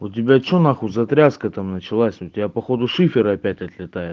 у тебя что на хуй за тряска там началась у тебя походу шифер опять отлетает